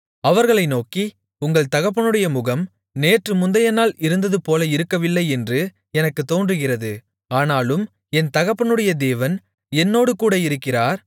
அவர்களை நோக்கி உங்கள் தகப்பனுடைய முகம் நேற்று முந்தையநாள் இருந்ததுபோல இருக்கவில்லை என்று எனக்குத் தோன்றுகிறது ஆனாலும் என் தகப்பனுடைய தேவன் என்னோடுகூட இருக்கிறார்